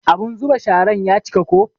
Abun zuba sharan ya cika ko.